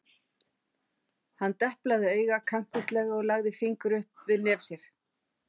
Hann deplaði auga kankvíslega og lagði fingur upp við nef sér.